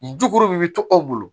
Juku bi to aw bolo